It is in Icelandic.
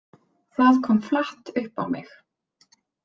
Það kom flatt upp á mig.